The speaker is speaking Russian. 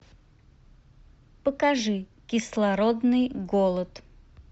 покажи кислородный голод